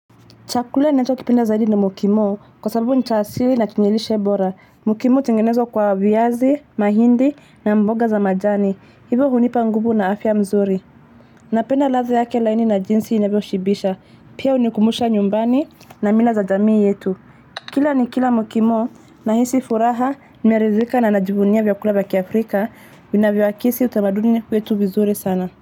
Chakula ninachokipenda zaidi ni mukimo, kwa sababu ni cha asili na chenye lishe bora. Mukimo hutengenezwa kwa viazi, mahindi na mboga za majani. Hivo hunipa nguvu na afya mzuri. Napenda ladha yake laini na jinsi inavyoshibisha. Pia hunikumbusha nyumbani na mila za jamii yetu. Kila nikila mukimo nahisi furaha, nimeridhika na najivunia vyakula vya kiafrika. Vinavyoakisi utamaduni wetu vizuri sana.